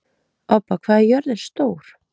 Obba, hvað er jörðin stór?